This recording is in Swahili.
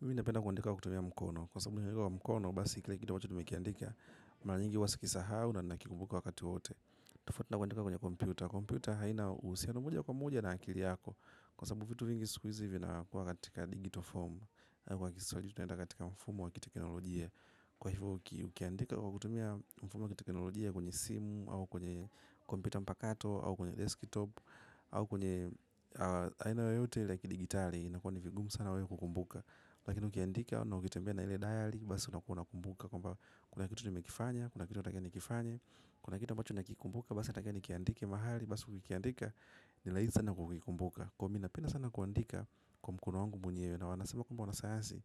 Mimi napenda kuandika kwa kutumia mkono, kwa sababu ukiandika kwa mkono basi kila kitu ambacho nimekiandika mara nyingi huwa sikisahau na nakikumbuka kwa wakati wowote. Tofauti na kuandika kwenye kompyuta. Kompyuta haina uhusiano moja kwa moja na akili yako. Kwa sababu vitu vingi siku hizi vinakuwa katika digital form. Kwa Kiswahili tunaita katika mfumo wa kiteknolojia. Kwa hivyo ukiandika kwa kutumia mfumo wa teknolojia kwenye simu, au kwenye kompyuta mpakato au kwenye desktop, au kwenye aina yoyote la kidijitali, inakuwa ni vigumu sana wewe kukikumbuka. Lakini ukiandika na ukitembea na ile dayari basi unakuwa unakumbuka kwamba kuna kitu nimekifanya kuna kitu natakiwa nikifanye. Kuna kitu ambacho nakikumbuka basi nataka nikiandike mahali basi ukikiandika, ni rahisi sana kukikumbuka. Kwa hiyo mi napenda sana kuandika kwa mkono wangu mwenyewe na wanasema kwamba wanasayansi